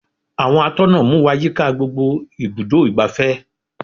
Àwọn atọ́nà mú wá yíká gbogbo ibùdó igbàfẹ́.